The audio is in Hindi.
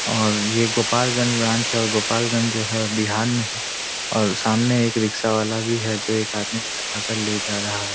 और ये गोपालगंज ब्रांच है और गोपालगंज जो है बिहार में है और सामने एक रिक्शा वाला भी है जो एक आदमी को बैठा कर ले जा रहा है।